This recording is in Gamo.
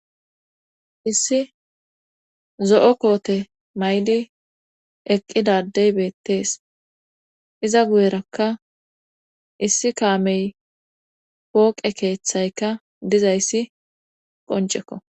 issi zo7o koote maydi eqqidadey beettees iza guyerakka issi kaamey pooqe keeththayka dizayssi qoncekko